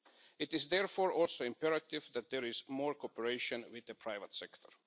It is therefore also imperative that there is more cooperation with the private sector.